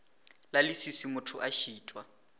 la leswiswi motho a šitwa